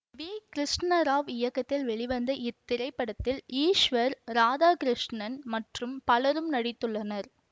we Krishna Rao இயக்கத்தில் வெளிவந்த இத்திரைப்படத்தில் ஈஸ்வர் ராதாகிருஷ்ணன் மற்றும் பலரும் நடித்துள்ளனர்